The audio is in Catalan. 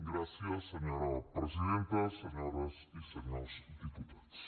gràcies senyora presidenta senyores i senyors diputats